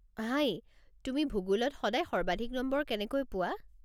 হাই, তুমি ভূগোলত সদায় সৰ্বাধিক নম্বৰ কেনেকৈ পোৱা?